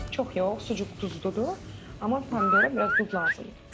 Çox yox, sucuk duzludur, amma pomidora biraz duz lazımdır.